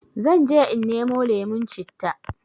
Zanje in nemo lemon citta